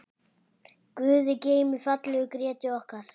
Guði geymi fallegu Grétu okkar.